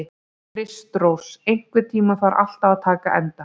Kristrós, einhvern tímann þarf allt að taka enda.